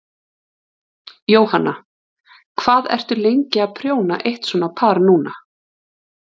Jóhanna: Hvað ertu lengi að prjóna eitt svona par núna?